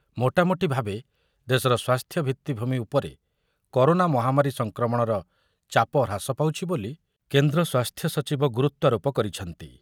ମୋଟାମୋଟି ଭାବେ ଦେଶର ସ୍ୱାସ୍ଥ୍ୟ ଭିତ୍ତିଭୂମି ଉପରେ କରୋନା ମହାମାରୀ ସଂକ୍ରମଣର ଚାପ ହ୍ରାସ ପାଉଛି ବୋଲି କେନ୍ଦ୍ର ସ୍ୱାସ୍ଥ୍ୟସଚିବ ଗୁରୁତ୍ୱାରୋପ କରିଛନ୍ତି ।